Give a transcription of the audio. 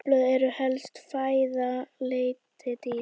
Laufblöð eru helsta fæða letidýra.